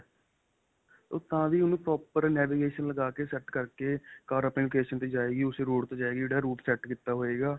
ਤਾਂ ਵੀ ਓਹਨੂੰ proper navigation ਲੱਗਾ ਕੇ set ਕਰਕੇ ਕਾਰ ਆਪਣੇ location ਤੇ ਜਾਏਗੀ ਓਸੇ route ਤੇ ਜਾਏਗੀ ਜਿਹੜਾ route set ਕੀਤਾ ਹੋਏਗਾ .